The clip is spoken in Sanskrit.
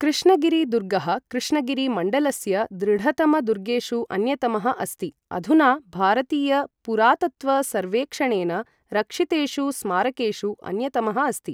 कृष्णगिरि दुर्गः कृष्णगिरि मण्डलस्य दृढतम दुर्गेषु अन्यतमः अस्ति, अधुना भारतीय पुरातत्त्व सर्वेक्षणेन रक्षितेषु स्मारकेषु अन्यतमः अस्ति।